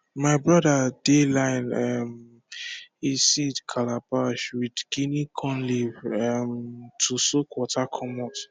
my brother dey line um e seed calabash with guinea corn leaf um to soak water commot